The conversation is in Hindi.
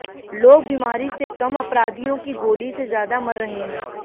लोग बीमारी से कम अपराधियों की गोली से ज्यादा मर रहे हैं